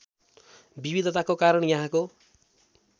विविधताको कारण यहाँको